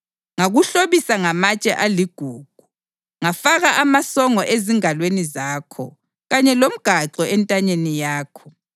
Ngakuhlobisa ngamatshe aligugu: Ngafaka amasongo ezingalweni zakho kanye lomgaxo entanyeni yakho,